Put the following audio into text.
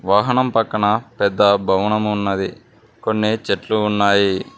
వాహనం పక్కన పెద్ద భవనం ఉన్నది కొన్ని చెట్లు ఉన్నాయి.